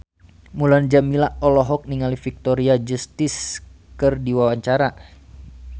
Mulan Jameela olohok ningali Victoria Justice keur diwawancara